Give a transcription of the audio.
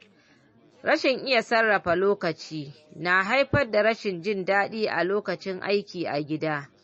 Rashin iya sarrafa lokaci na haifar da rashin jin daɗi a lokacin aiki a gida.